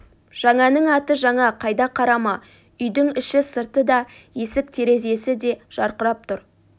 жаңаның аты жаңа қайда қарама үйдің іші-сырты да есік-терезесі де жарқырап тұр